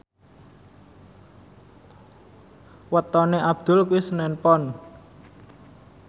wetone Abdul kuwi senen Pon